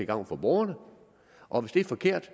gavn for borgerne og hvis det er forkert